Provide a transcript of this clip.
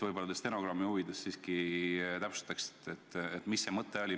Võib-olla te stenogrammi huvides siiski täpsustaksite, mis see mõte oli.